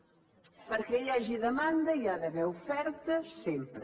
perquè hi hagi demanda hi ha d’haver oferta sempre